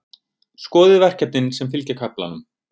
Skoðið verkefnin sem fylgja kaflanum.